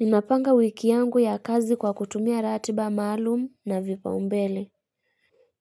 Ninapanga wiki yangu ya kazi kwa kutumia ratiba maalum na vipa umbele.